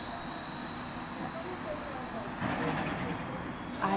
Uhum... Como foi para a avô depois de ter três filhos?